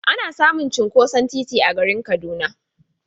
Ana samun cinkoson titi a garin Kaduna.